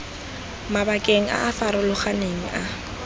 mabakeng a a farologaneng a